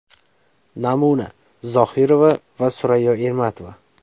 Namuna Zohirova va Surayyo Ermatova.